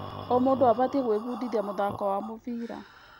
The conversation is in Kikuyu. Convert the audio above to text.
O mũndũ abatiĩ gwĩbundithia mũthako wa mũbira.